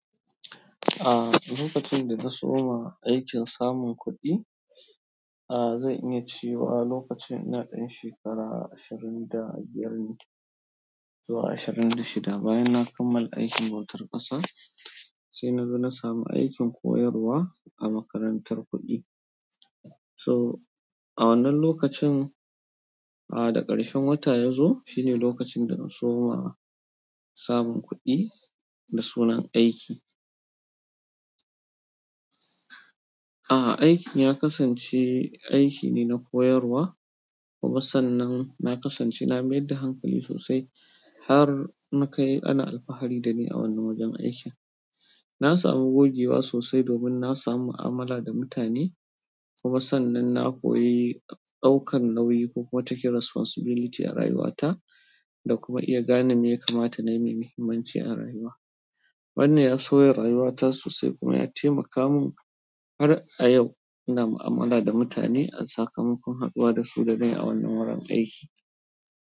A lokacin da na soma aikin samun kuɗi, a zan iya cewa lokacin ina ɗan shekara ashirin da biyar ne zuwa ashirin da shida, bayan na kammala aikin bautar ƙasa sai na zo na samu aikin koyarwa a makarantar kuɗi. To, a wannan lokacin a da ƙarshen wata ya zo shine lokacin da na soma samun kuɗi da sunan aiki. A aikin ya kasance aiki ne na koyarwa, kuma sannan na kasance na mai da hankali sosai har muka yi ana alfahari da ni a wannan wajen aiki. Na samu gogewa sosai domin na samu'u amala da mutane kuma sannan na koyi ɗaukan nauyi ko kuma taking responsibility a rayuwata da kuma iya gane me ya kamata na yi mai muhimmanci a rayuwa. Wannan ya sauye rayuwata sosai kuma ya taimaka mun, har a yau ina mu'amala da mutane, a tsakamakon haɗuwa da su da dai a wannan wurin aiki.